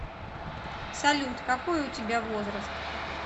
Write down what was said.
салют какой у тебя возраст